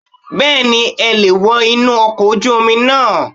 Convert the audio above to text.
Bẹ́ẹ̀ni e leè wo inú okò ojú Omi náà